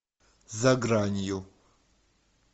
за гранью